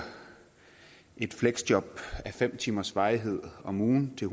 et fleksjob a fem timers varighed om ugen til